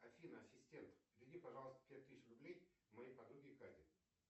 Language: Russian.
афина ассистент переведи пожалуйста пять тысяч рублей моей подруге кате